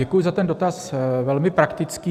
Děkuji za ten dotaz, velmi praktický.